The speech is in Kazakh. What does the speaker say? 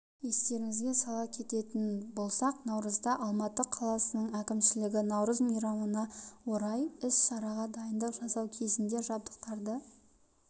естеріңізге сала кететін болсақ наурызда алматы қаласының әкімшілігі наурыз мейрамына орай іс-шараға дайындық жасау кезінде жабдықтарды